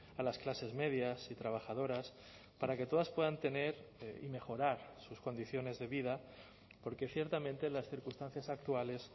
a las clases medias y trabajadoras para que todas puedan tener y mejorar sus condiciones de vida porque ciertamente las circunstancias actuales